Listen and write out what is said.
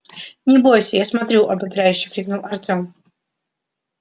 не бойся я смотрю ободряюще крикнул артем